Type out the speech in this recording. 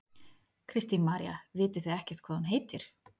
Kristín María: Vitið þið ekkert hvað hún heitir?